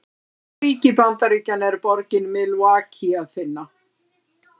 Í hvaða ríki Bandaríkjanna er borgina Milwaukee að finna?